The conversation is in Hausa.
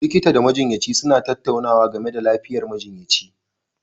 Likita da majiyyaci suna tattaunawa game da lafiyar majiyyaci